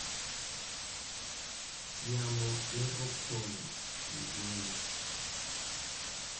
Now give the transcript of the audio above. Yamo ne opong’ gi geno